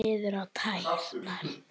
Horfði niður á tærnar.